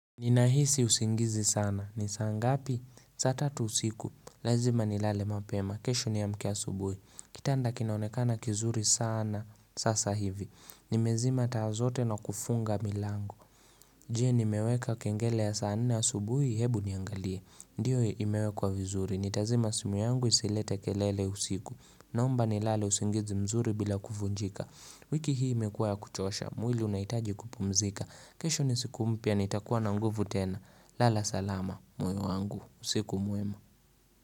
Ninahisi usingizi sana. Nisaa ngapi? Saa tatu usiku. Lazima ni lale mapema. Kesho niamke a subuhi. Kitanda kinaonekana kizuri sana sasa hivi. Nimezima taazote na kufunga milangu. Jie nimeweka kengele ya saa nne a subuhi hebu niangalie. Ndiyo imewe kwa vizuri. Nitazima simu yangu isilete kelele usiku. Naomba ni lale usingizi mzuri bila kuvunjika. Wiki hii imekuwa ya kuchosha, mwili unahitaji kupumzika kesho nisiku mpia, nitakuwa na nguvu tena Lala salama, moyo wangu, usiku mwema.